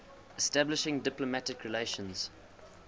establishing diplomatic relations